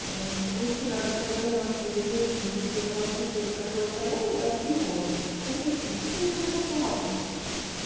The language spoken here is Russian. мужчина нанёс своей сожительницы что-то там куча ножевых ранений и отрубил голову зая почему приревновал он её